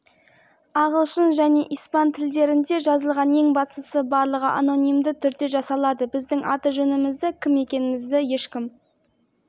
оны мың оқырманы бар танымал парақшаға қалай айналдырып жібердіңіз егер бұның бәрі құпия түрде болса отандық